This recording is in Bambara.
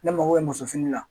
Ne mako bɛ muso fini la